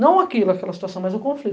Não aquilo, aquela situação, mas o